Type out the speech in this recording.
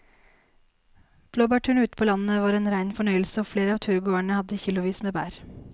Blåbærturen ute på landet var en rein fornøyelse og flere av turgåerene hadde kilosvis med bær.